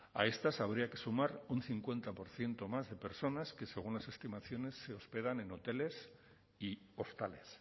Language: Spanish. a estas habría que sumar un cincuenta por ciento más de personas que según las estimaciones se hospedan en hoteles y hostales